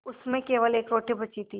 उसमें केवल एक रोटी बची थी